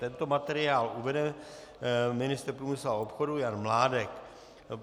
Tento materiál uvede ministr průmyslu a obchodu Jan Mládek.